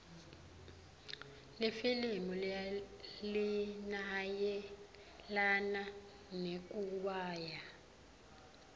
lelifilimu linayelana nekuiwaya